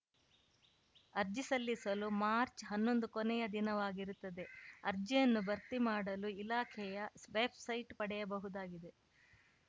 ಅರ್ಜಿ ಸಲ್ಲಿಸಲು ಮಾರ್ಚ್ಹನ್ನೊಂದು ಕೊನೆಯ ದಿನವಾಗಿರುತ್ತದೆ ಅರ್ಜಿಯನ್ನು ಭರ್ತಿಮಾಡಲು ಇಲಾಖೆಯ ವೆಬ್‌ಸೈಟ್‌ ಪಡೆಯಬಹುದಾಗಿದೆ